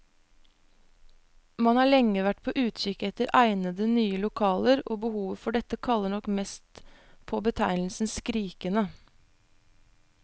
Man har lenge vært på utkikk etter egnede, nye lokaler, og behovet for dette kaller nok mest på betegnelsen skrikende.